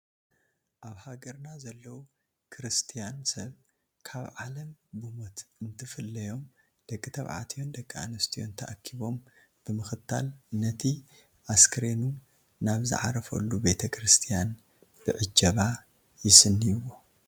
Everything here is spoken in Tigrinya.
ኣብ ሃገርና ዘለዉ ክርስቲያን ሰብ ካብ ዓለም ብሞት እንትፍለዮም ደቂ ተባዕትዮን ደቂ ኣነስትዮን ተኣኪቦም ብምኽታል ነቲ ኣስከሬኑ ናብ ዝዓርፈሉ ቤተ ክርስቲያን ብዕጀባ ይስንይዎ፡፡